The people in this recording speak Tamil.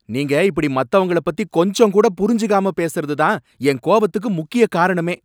நீங்க இப்படி மத்தவங்கள பத்தி கொஞ்சம் கூட புரிஞ்சுக்காம பேசுறது தான் என் கோபத்துக்கு முக்கிய காரணமே!